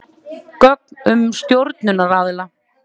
Gögn um stjórnunaraðila.